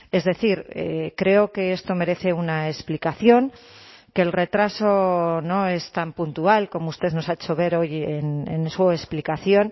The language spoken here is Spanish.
es decir creo que esto merece una explicación que el retraso no es tan puntual como usted nos ha hecho ver hoy en su explicación